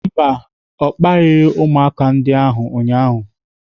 Mba, ọ kparịghị ụmụaka ndị ahụ ụnyaahụ.